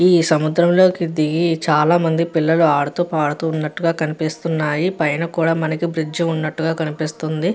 ఈ సముద్రంలోకి దిగి చాలామంది పిల్లలు ఆడుతూ పాడుతూ ఉన్నట్టుగా కనిపిస్తున్నాయి. పైన కూడా మనకి బ్రిడ్జి ఉన్నట్టుగా కనిపిస్తుంది.